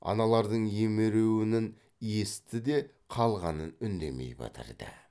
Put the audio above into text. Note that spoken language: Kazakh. аналардың емеруінін есітті де қалғанын үндемей бітірді